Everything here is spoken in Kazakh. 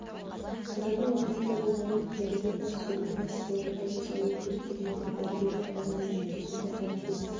қазанның ортасында болған еді дәрігер бас сүйегіне пластикалық ота жасалуы керектігін айтты дәрігерлер баланың жүйкесінде ауытқу